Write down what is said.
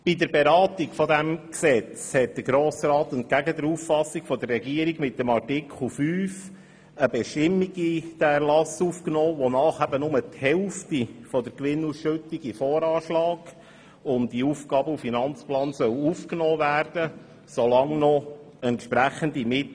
Bei der Beratung dieses Gesetzes hat der Grosse Rat mit Artikel 5 eine Bestimmung in diesen Erlass aufgenommen, wonach nur die Hälfte der Gewinnausschüttung in den Voranschlag sowie in den Aufgaben- und Finanzplan aufgenommen werden soll, solange Mittel in diesem Fonds vorhanden seien.